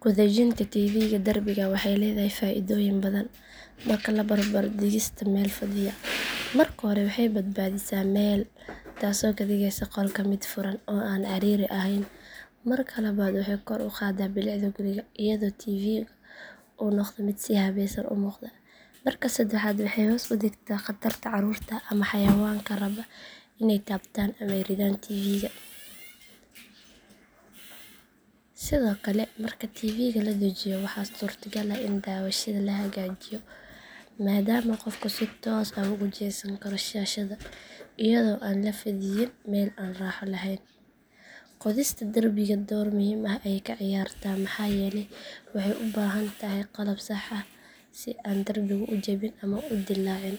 Ku dhejinta tv-ga derbiga waxay leedahay faa’iidooyin badan marka la barbar dhigo dhigista meel fadhiya. Marka hore waxay badbaadisaa meel taasoo ka dhigaysa qolka mid furan oo aan ciriiri ahayn. Marka labaad waxay kor u qaadaa bilicda guriga iyadoo tv-gu uu noqdo mid si habaysan u muuqda. Marka saddexaad waxay hoos u dhigtaa khatarta carruurta ama xayawaanka raba inay taabtaan ama riddaan tv-ga. Sidoo kale marka tv-ga la dhejiyo waxaa suurtagal ah in daawashada la hagaajiyo maadaama qofku si toos ah ugu jeesan karo shaashadda iyadoo aan la fadhiyin meel aan raaxo lahayn. Qodista derbiga door muhiim ah ayay ka ciyaartaa maxaa yeelay waxay u baahan tahay qalab sax ah si aan derbigu u jabin ama u dillaacin.